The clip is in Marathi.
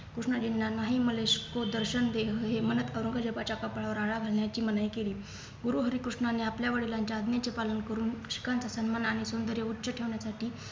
कृष्णजींना मलेश को भी दर्शन दे हे म्हणत औरंगजेबाच्या कपाळावर आळा बांधण्याची मनाई केली गुरुहरीकृष्णाने आपल्या वडिलांच्या आज्ञेचे पालन करून उष्णकण्ठ सन्मानाने सौंदर्य उच्च ठेवण्यासाठी